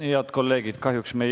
Head kolleegid!